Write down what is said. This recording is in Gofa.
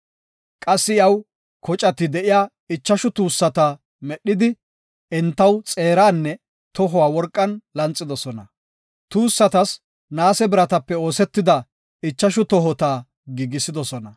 Qassi iyaw kocati de7iya ichashu tuussata medhidi, entaw xeeranne tohuwa worqan lanxidosona. Tuussatas naase biratappe oosetidi ichashu tohota giigisidosona.